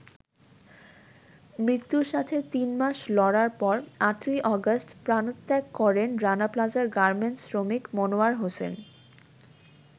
মৃত্যুর সাথে তিন মাস লড়ার পর ৮ই অগাষ্ট প্রাণত্যাগ করেন রানা প্লাজার গার্মেন্টস শ্রমিক মনোয়ার হোসেন।